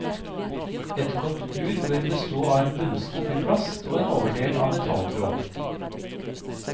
Et godt bur bør bestå av en bunnskuff i plast og en overdel av metalltråd.